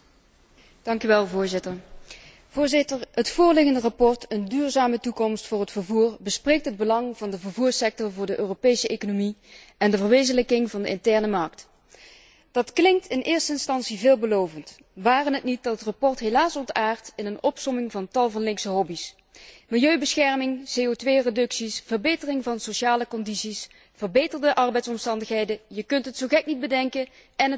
Voorzitter, het voorliggende verslag over een duurzame toekomst voor het vervoer bespreekt het belang van de vervoersector voor de Europese economie en de verwezenlijking van de interne markt. Dat klinkt in eerste instantie veelbelovend, ware het niet dat het verslag helaas ontaardt in een opsomming van tal van linkse hobby's milieubescherming, CO reducties, verbetering van sociale voorwaarden, verbeterde arbeidsomstandigheden, je kunt het zo gek niet bedenken of het wordt aangehaald.